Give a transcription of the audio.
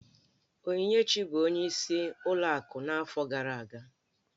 Onyinyechi bụ ọnyeis ụlọ akụ n'afọ gara aga.